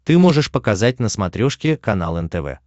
ты можешь показать на смотрешке канал нтв